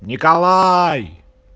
николай